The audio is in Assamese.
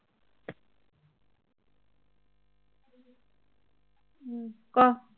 ক